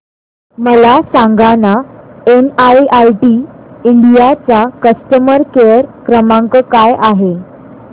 मला सांगाना NIIT India चा कस्टमर केअर क्रमांक काय आहे